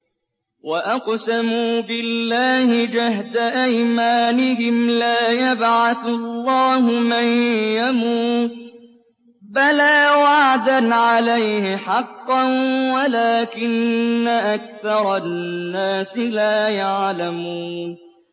وَأَقْسَمُوا بِاللَّهِ جَهْدَ أَيْمَانِهِمْ ۙ لَا يَبْعَثُ اللَّهُ مَن يَمُوتُ ۚ بَلَىٰ وَعْدًا عَلَيْهِ حَقًّا وَلَٰكِنَّ أَكْثَرَ النَّاسِ لَا يَعْلَمُونَ